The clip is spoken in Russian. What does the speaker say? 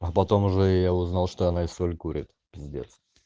а потом уже я узнал что она и соль курит пиздец